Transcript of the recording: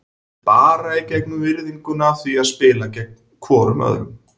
Bara í gegnum virðinguna af því að spila gegn hvorum öðrum.